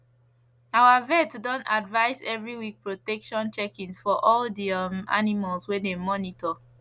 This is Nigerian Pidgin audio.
our vet don advise every week protection checkings for all de um animal wey dem monitor